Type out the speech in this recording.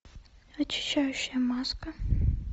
очищающая маска